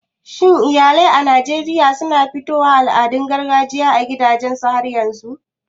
Shin iyalai a Najeriya na fifito al'adun gargajiya a gidajensu har yanzun?